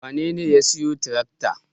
Wanene ya siyo tirakta?